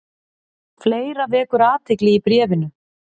Fleira vekur athygli í bréfinu.